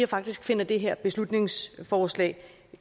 faktisk finder det her beslutningsforslag